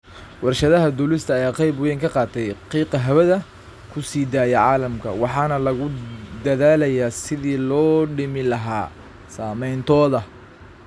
Warshadaha duulista ayaa qayb weyn ka qaata qiiqa hawada ku sii daaya caalamka, waxaana lagu dadaalayaa sidii loo dhimi lahaa saameyntooda.